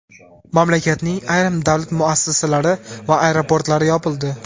Mamlakatning ayrim davlat muassasalari va aeroportlari yopildi.